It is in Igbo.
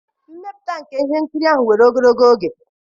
mmepụta nke ihe nkiri ahụ were ogologo oge.